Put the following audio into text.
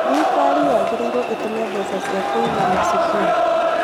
Thirikari yagĩrĩirwo ĩtũme mbeca cia kũigana cukuru